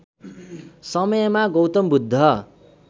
समयमा गौतम बुद्ध